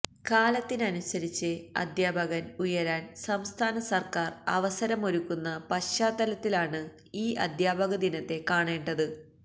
കാലത്തിനനുസരിച്ച് അധ്യാപകന് ഉയരാന് സംസ്ഥാന സര്ക്കാര് അവസരമൊരുക്കുന്ന പശ്ചാത്തലത്തിലാണ് ഈ അധ്യാപകദിനത്തെ കാണേണ്ടത്